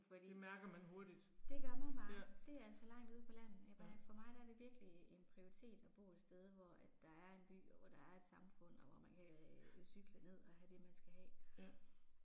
Fordi. Det gør man bare. Det er altså langt ude på landet. Ja for mig er det virkelig en prioritet at bo et sted hvor at der er en by og der er et samfund og hvor man kan cykle ned og have det man skal have